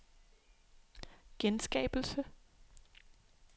genskabelse